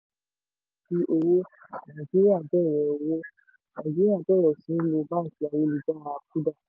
rògbòdìyàn kò sí owó: nàìjíríà bẹ̀rẹ̀ owó: nàìjíríà bẹ̀rẹ̀ sí lo báńkì ayélujára kuda